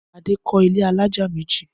Adé kọ́ ilé alájà méjì.